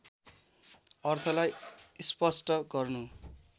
अर्थलाई स्पष्ट गर्नु